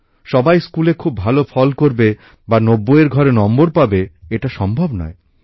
সবাই স্কুলে খুব ভালো ফল করবে বা ৯০ এর ঘরে নম্বর পাবে এটা সম্ভব নয়